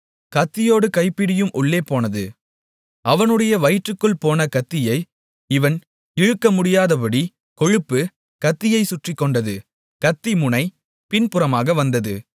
கத்தியோடு கைப்பிடியும் உள்ளே போனது அவனுடைய வயிற்றிற்குள் போன கத்தியை இவன் இழுக்கமுடியாதபடி கொழுப்பு கத்தியைச் சுற்றிக் கொண்டது கத்தி முனை பின்புறமாக வந்தது